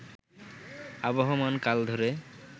আবহমান কাল ধরে